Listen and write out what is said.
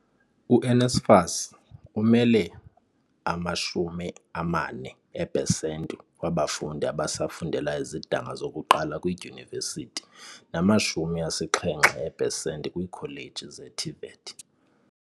U-NSFAS umele ama-40 eepesenti wabafundi abasa fundela izidanga zokuqala kwiidyunivesithi nama-70 eepesenti kwiikholeji ze-TVET.